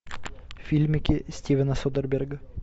фильмики стивена содерберга